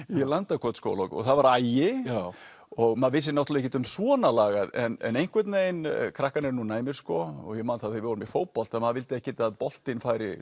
í Landakotsskóla og það var agi og maður vissi náttúrulega ekkert um svona lagað en einhvern veginn krakkar eru nú næmir sko og ég man þegar við vorum í fótbolta að maður vildi ekkert að boltinn færi